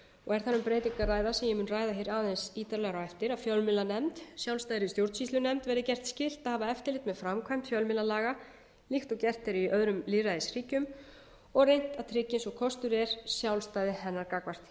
og þar um breytingu að ræða sem ég mun ræða aðeins ítarlegar á eftir að fjölmiðlanefnd sjálfstæðri stjórnsýslunefnd verði gert skylt að hafa eftirlit með framkvæmd fjölmiðlalaga líkt og gert er í öðrum lýðræðisríkjum og reynt að tryggja eins og kostur er sjálfstæði hennar gagnvart hinu